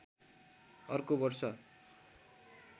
अर्को वर्ष